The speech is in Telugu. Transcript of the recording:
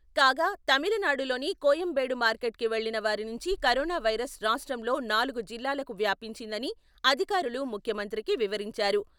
కాగా, తమిళనాడులోని కోయంబేడు మార్కెట్ కి వెళ్ళిన వారి నుంచి కరోనా వైరస్ రాష్ట్రంలో నాలుగు జిల్లాలకు వ్యాపించిందని అధికారులు ముఖ్యమంత్రికి వివరించారు.